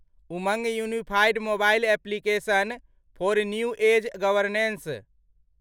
Umang unified mobile application for new age governance